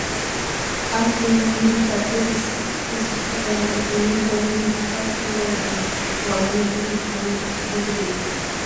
ኣብ ዘመናዊ ምድጃ ብረድስቲ ተሰክቲቱ ኣሎ እቲ ምድጃ እውን ዲጂታል ቁጽሪ ኣለዎ ። ዋጋ ናይቲ ዲጂታል ምድጃ ክንደይ እዩ ?